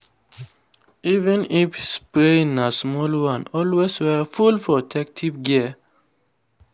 even if the spraying na small one always wear full protective gear.